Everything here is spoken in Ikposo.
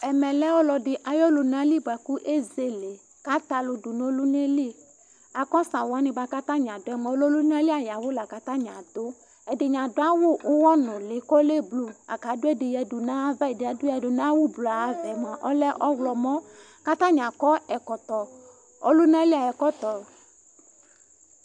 Ɛmɛ lɛ ɔlɔɖi ayu ɔlunali buaku ezele Ku àtɛ ãlu ɖu nu ɔluna yɛ li Lakost awu yɛ buaku atani aɖu yɛ mua, ɔlɛ ɔlunali ayu awu laku atani aɖu Ɛdini aɖu awu uɣɔnuli, ku ɔlɛ blu Laku aɖu ɛɖi yaɖu nu ãyãvã Ɛdi yɛ aɖu yaɖu nu awu blu yɛ ãyãvã yɛ mua, ɔlɛ ɔwlɔmɔ Ku atani akɔ ɛkɔtɔ, ɔlunali ayu ɛkɔtɔ